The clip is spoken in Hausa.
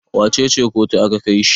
wacece kotu aka Kai shi?